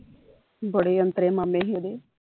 ਬੜੇ ਔਂਤਰੇ ਮਾਮੇ ਹੀ ਉਹਦੇ